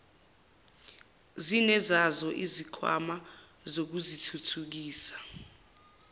zinezazo izikhwama zokuzithuthukisa